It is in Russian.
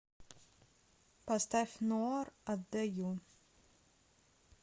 поставь ноар отдаю